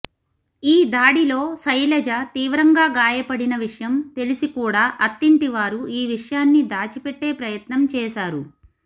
ఈ దాడిలో శైలజ తీవ్రంగా గాయపడిన విషయం తెలిసి కూడా అత్తింటివారు ఈ విషయాన్ని దాచిపెట్టే ప్రయత్నం చేశారు